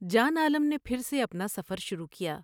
جان عالم نے پھر سے اپنا سفر شروع کیا ۔